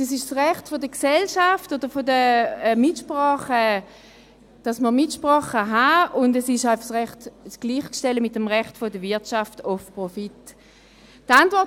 Es ist das Recht der Gesellschaft, dass man eine Mitsprache haben kann, und es ist einfach mit dem Recht der Wirtschaft auf Profit gleichzustellen.